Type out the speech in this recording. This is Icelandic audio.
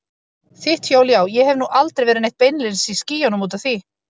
Þitt hjól já, ég hef nú aldrei verið neitt beinlínis í skýjunum út af því.